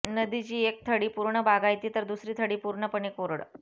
नदीची एक थडी पूर्ण बागायती तर दुसरी थडी पूर्णपणे कोरड